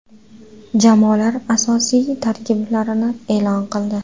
Jamoalar asosiy tarkiblarni e’lon qildi.